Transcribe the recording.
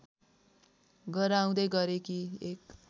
गराउँदै गरेकी एक